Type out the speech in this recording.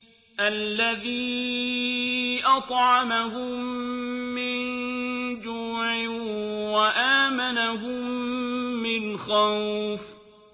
الَّذِي أَطْعَمَهُم مِّن جُوعٍ وَآمَنَهُم مِّنْ خَوْفٍ